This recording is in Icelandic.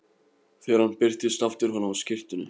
Þegar hann birtist aftur var hann á skyrtunni.